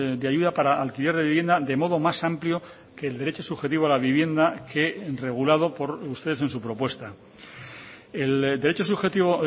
de ayuda para alquiler de vivienda de modo más amplio que el derecho subjetivo a la vivienda que regulado por ustedes en su propuesta el derecho subjetivo